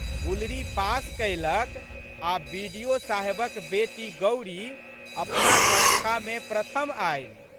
गुलरी पास कयलक आ' बि.डि.ओ साहेबक बेटी गौरी अपना कक्षामे प्रथम आयलि।